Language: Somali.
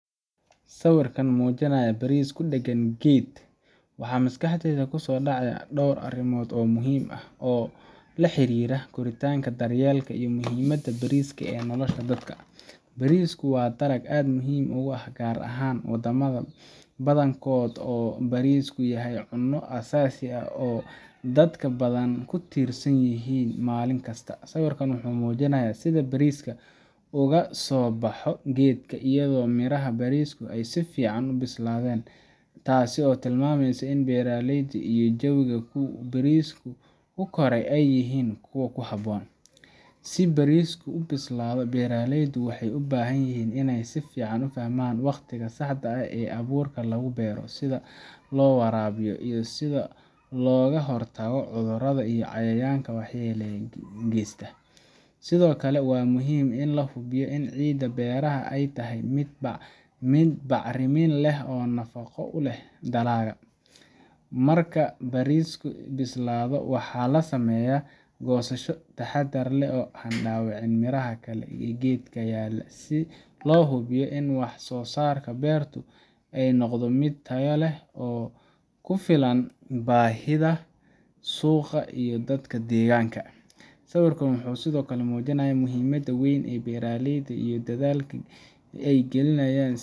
Sawirkan mujinaya baris kudagan geed waxaa maskaxdeyda kusodacaya dor arimood oo muhiim ah oo laxirira koritanka bariska, bariaka waa cuno muhiim ah, si bariski ubialaado beera leyda miid bacrimin leh oo bafaqo leh dalaga marku bariskaa bislaado waxaa lasameyaa gosasha taxadar leh, si lo hubiyo wax sosarka birta miid tayo leh oo kufilan bahida suqa iyo dadka deganka sawirkan wuxuu sithokale mujinaya muhiimaada weyn ee bera leyda iyo dadhalka ee galinayan.